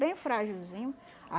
Bem fragilzinho.